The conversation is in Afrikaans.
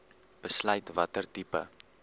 besluit watter tipe